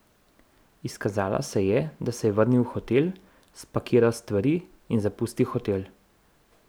Izkazalo se je, da se je vrnil v hotel, spakiral stvari in zapustil hotel.